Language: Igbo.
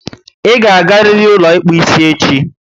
I ga agariri ụlọ ịkpụ isi echi!